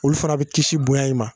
Olu fɛnɛ bi kisi bonya in ma